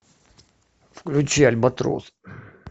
включи альбатрос